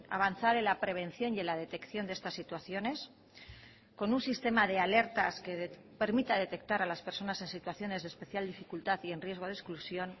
avanzar en la prevención y en la detección de estas situaciones con un sistema de alertas que permita detectar a las personas en situaciones de especial dificultad y en riesgo de exclusión